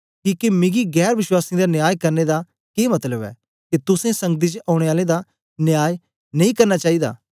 किके मिगी गैर वश्वासीयें दा न्याय करने दा के मतलब ऐ के तुसें संगति च औने आलें दा न्याय नेई करना चाईदा